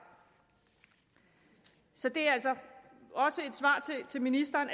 så det er altså også et svar til ministeren